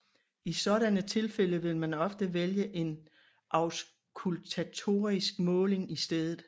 I sådanne tilfælde vil man ofte vælge en auskultatorisk måling i stedet